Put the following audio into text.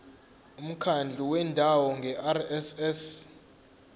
umkhandlu wendawo ngerss